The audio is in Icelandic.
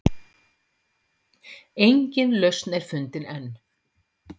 Engin lausn er fundin enn.